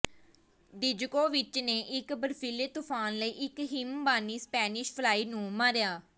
Djokovic ਨੇ ਇੱਕ ਬਰਫੀਲੇ ਤੂਫਾਨ ਲਈ ਇੱਕ ਹਿਮਬਾਨੀ ਸਪੈਨਿਸ਼ ਫਲਾਈ ਨੂੰ ਮਾਰਿਆ